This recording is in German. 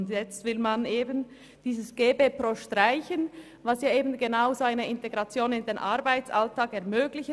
Und nun will man gerade diese GeBePro streichen, welches eine solche Integration in den Arbeitsalltag ermöglicht.